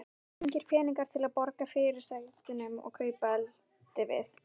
Engir peningar til að borga fyrirsætunum og kaupa eldivið.